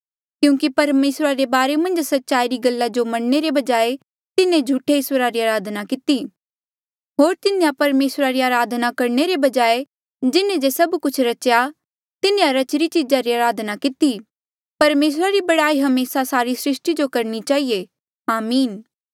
क्यूंकि परमेसरा रे बारे मन्झ सच्चाई री गल्ला जो मनणे रे बजाय तिन्हें झूठे ईस्वरा री अराधना किती होर तिन्हें परमेसरा री अराधना करणे रे बजाय जिन्हें जे सभ कुछ रच्या तिन्हें रचीरी चीजा री अराधना किती परमेसरा री बड़ाई हमेसा सारी सृस्टी जो करणी चहिए आमीन